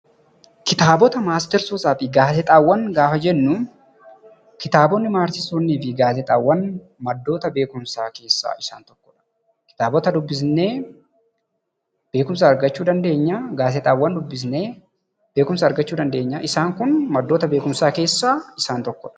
Kitaabota, matseetotaa fi gaazexaawwan yammuu jennu maddoota beekumsaa keessaa isaan tokkoo dha. Kitaabota dubbisnee beekumsa argachuu dandeenyaa akkasumas gaazexaawwanis dubbisnee beekumsa argachuu dandeenya. Isaan kun maddoota beekumsaa keessaa isaan tokkoodha.